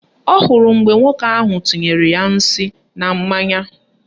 Ọ hụrụ mgbe nwoke ahụ tinyere ya nsị na mmanya